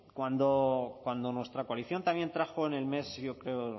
cuando nuestra coalición también trajo en el mes yo creo